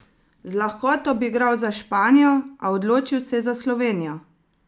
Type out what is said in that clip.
Z lahkoto bi igral za Španijo, a odločil se je za Slovenijo!